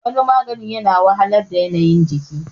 waniaganin yana wahalar da yanayin